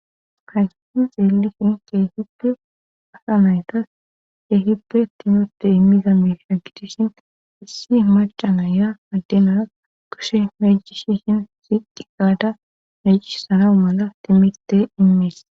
Haysiti xeelishin kehippe asa maytas kehippe timote immiza meska gidishin issi macanaya addemara koshe majish hin sidi qaada mejish sarawu mala timirte immees.